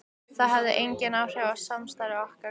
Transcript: Það hefði engin áhrif á samstarf okkar hvar ég bý.